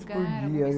Por dia.